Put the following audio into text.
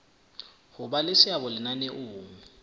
ho ba le seabo lenaneong